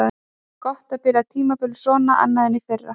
Gott að byrja tímabilið svona annað en í fyrra.